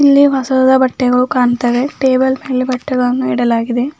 ಇಲ್ಲಿ ಹೊಸದಾದ ಬಟ್ಟೆಗಳು ಕಾಣ್ತಾವೆ ಟೇಬಲ್ ಮೇಲೆ ಬಟ್ಟೆಗಳನ್ನು ಇಡಲಾಗಿದೆ.